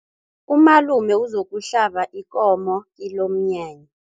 Umalume uzokuhlaba ikomo kilomnyanya.